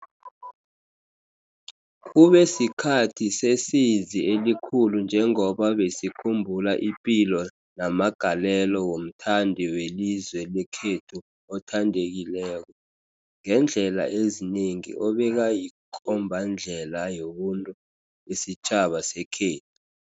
Kube sikhathi sesizi elikhulu njengoba besikhumbula ipilo namagalelo womthandi welizwe lekhethu othandekileko, ngeendlela ezinengi obekayikombandlela yobuntu besitjhaba sekhethu.